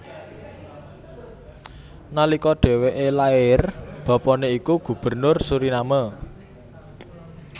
Nalika dhèwèké lair bapané iku Gubernur Suriname